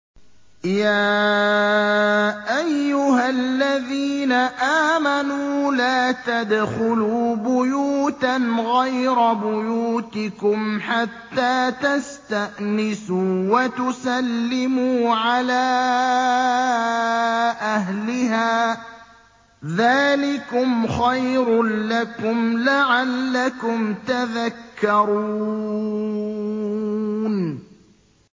يَا أَيُّهَا الَّذِينَ آمَنُوا لَا تَدْخُلُوا بُيُوتًا غَيْرَ بُيُوتِكُمْ حَتَّىٰ تَسْتَأْنِسُوا وَتُسَلِّمُوا عَلَىٰ أَهْلِهَا ۚ ذَٰلِكُمْ خَيْرٌ لَّكُمْ لَعَلَّكُمْ تَذَكَّرُونَ